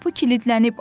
Qapı kilidlənib.